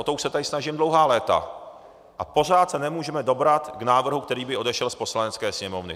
O to už se tady snažím dlouhá léta a pořád se nemůžeme dobrat k návrhu, který by odešel z Poslanecké sněmovny.